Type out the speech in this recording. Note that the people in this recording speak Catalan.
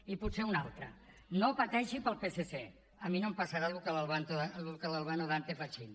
i potser una altra no pateixi pel psc a mi no em passarà el mateix que a l’albano dante fachín